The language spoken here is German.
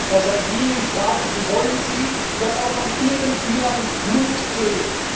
Herr Salvini, ich frage Sie Wollen Sie, dass auch an Ihren Fingern Blut klebt?